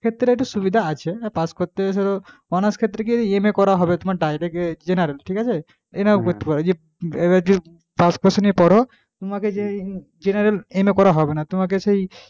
ক্ষেত্রে একটু সুবিধা আছে। pass করতে কি honours ক্ষেত্রে কি হবে MA pass cours নিয়ে পড়ো তোমাকে genera করা MA হবে না তোমাকে সেই,